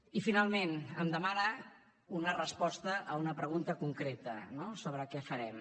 i finalment em demana una resposta a una pregunta concreta no sobre què farem